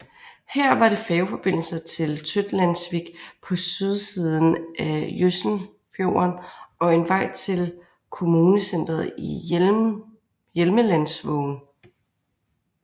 Her var det færgeforbindelse til Tøtlandsvik på sydsiden af Jøsenfjorden og en vej til kommunecentret i Hjelmelandsvågen